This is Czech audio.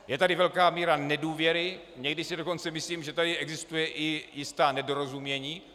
Je tady velká míra nedůvěry, někdy si dokonce myslím, že tady existuje i jisté nedorozumění.